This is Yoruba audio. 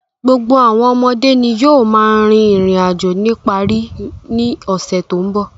Gbogbo àwọn ọmọdé ni yóò máa rin ìrìn-àjò nípa rí i ní ọ̀sẹ̀ tó ń bọ̀.